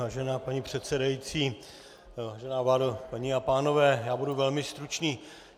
Vážená paní předsedající, vážená vládo, paní a pánové, já budu velmi stručný.